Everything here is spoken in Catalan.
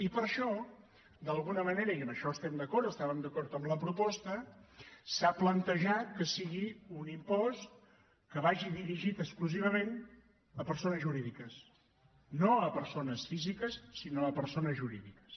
i per això d’alguna manera i en això estem d’acord estàvem d’acord en la proposta s’ha plantejat que sigui un impost que vagi dirigit exclusivament a persones jurídiques no a persones físiques sinó a persones jurídiques